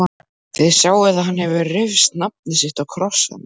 Þið sjáið að hann hefur rist nafnið sitt á krossana.